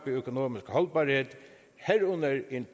økonomisk holdbarhed herunder en